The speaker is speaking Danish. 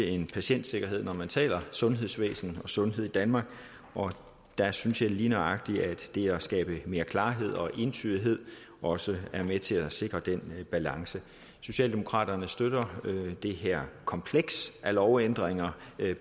end patientsikkerhed når man taler sundhedsvæsenet og sundhed i danmark og der synes jeg lige nøjagtig at det at skabe mere klarhed og entydighed også er med til at sikre den balance socialdemokraterne støtter det her kompleks af lovændringer